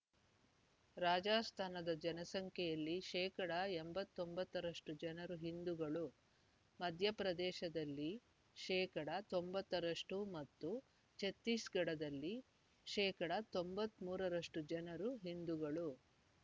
ರಾಜಸ್ಥಾನದ ಜನಸಂಖ್ಯೆಯಲ್ಲಿ ಶೇಕಡಾ ಎಂಬತ್ತ್ ಒಂಬತ್ತ ರಷ್ಟುಜನರು ಹಿಂದುಗಳು ಮಧ್ಯಪ್ರದೇಶದಲ್ಲಿ ಶೇಕಡಾ ತೊಂಬತ್ತ ರಷ್ಟುಮತ್ತು ಛತ್ತೀಸ್‌ಗಢದಲ್ಲಿ ಶೇಕಡಾ ತೊಂಬತ್ತ್ ಮೂರ ರಷ್ಟುಜನರು ಹಿಂದುಗಳು